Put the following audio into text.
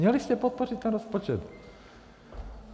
Měli jste podpořit ten rozpočet.